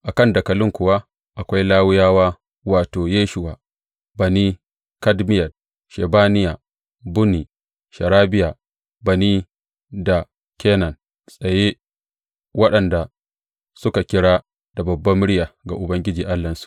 A kan dakalin kuwa akwai Lawiyawa, wato, Yeshuwa, Bani, Kadmiyel, Shebaniya, Bunni, Sherebiya, Bani da Kenani tsaye, waɗanda suka kira da babbar murya ga Ubangiji Allahnsu.